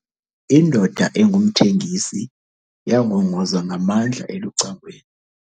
Indoda engumthengisi yangongoza ngamandla elucangweni.